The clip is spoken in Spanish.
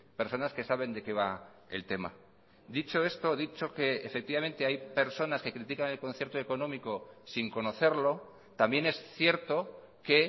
personas que saben de qué va el tema dicho esto dicho que efectivamente hay personas que critican el concierto económico sin conocerlo también es cierto que